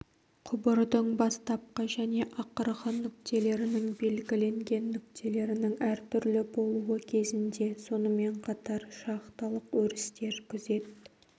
құбырдың бастапқы және ақырғы нүктелерінің белгіленген нүктелерінің әртүрлі болуы кезінде сонымен қатар шахталық өрістер күзет